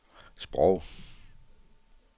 sprog